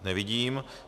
Nevidím.